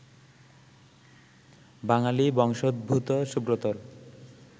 বাঙালি বংশোদ্ভূত সুব্রতর